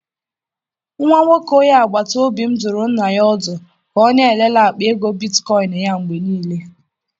Nwa nwoke onye agbata obi m dụrụ nna ya ọdụ ka ọ na-elele akpa ego bitkoịn ya mgbe niile.